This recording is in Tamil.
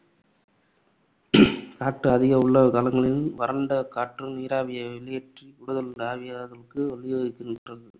காற்று அதிக உள்ள காலங்களில் வறண்ட காற்று நீராவியை வெளியேற்றி கூடுதல் ஆவியாதலுக்கு வழிவகுக்கின்றது